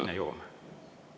Sinna jõuame.